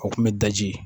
O kun bɛ daji